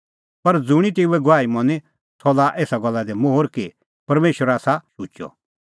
पर ज़ुंणी तेऊए गवाही मनी सह लाआ एसा गल्ला दी मोहर कि परमेशर आसा शुचअ